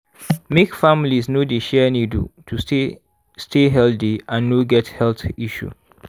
make families no dey share needle to stay stay healthy and no get health issue